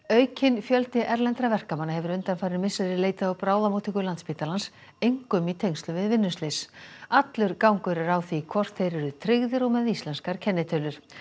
aukinn fjöldi erlendra verkamanna hefur undanfarin misseri leitað á bráðamóttöku Landspítalans einkum í tengslum við vinnuslys allur gangur er á því hvort þeir eru tryggðir og með íslenskar kennitölur